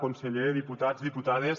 conseller diputats diputades